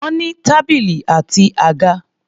Wọ́n ní tábìlì àti àga.